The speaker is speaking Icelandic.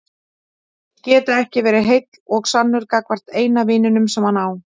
Geta ekki verið heill og sannur gagnvart eina vininum sem hann á.